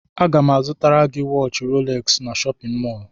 Aga m azụta waatchi rolex n'shóppin mol.